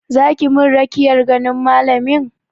Za ki min rakiyar ganin malamin?